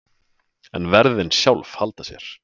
En verðin sjálf halda sér.